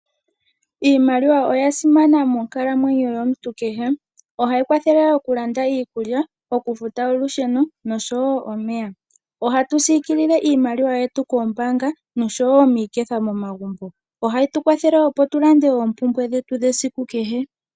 Iimaliwa oya simana monkalamwenyo yomuntu kehe. Ohayi kwathele okulanda iikulya, okufuta olusheno nosho wo omeya. Ohatu siikilile iimaliwa yetu koombaanga nosho wo miiketha momagumbo. Ohayi tu kwathele, opo tu lande oompumbwe dhetu dhesiku kehe.